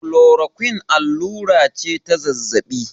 klorakuin allura ce ta zazzabi